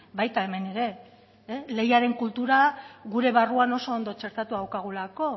baita hemen ere lehiaren kultura gure barruan oso ondo txertatua daukagulako